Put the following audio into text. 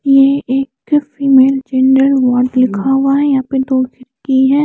एक female gender ward लिखा हुआ है यहाँ पे दो व्यक्ति है।